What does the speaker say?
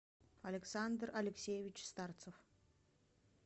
александр алексеевич старцев